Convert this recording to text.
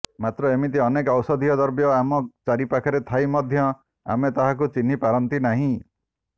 ମାତ୍ର ଏମିତି ଅନେକ ଔଷଧୀୟ ଦ୍ରବ୍ୟ ଆମ ଚାରିପାଖରେ ଥାଇ ମଧ୍ୟ ଆମେ ତାହାକୁ ଚିହ୍ନି ପାରନ୍ତି ନାହିଁ